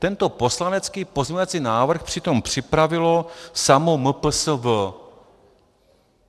Tento poslanecký pozměňovací návrh přitom připravilo samo MPSV.